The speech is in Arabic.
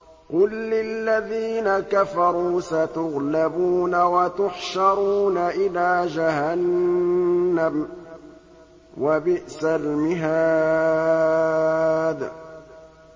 قُل لِّلَّذِينَ كَفَرُوا سَتُغْلَبُونَ وَتُحْشَرُونَ إِلَىٰ جَهَنَّمَ ۚ وَبِئْسَ الْمِهَادُ